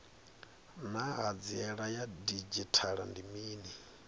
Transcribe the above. naa hanziela ya didzhithala ndi mini